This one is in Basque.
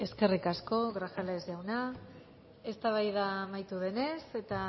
eskerrik asko grajales jauna eztabaida amaitu denez eta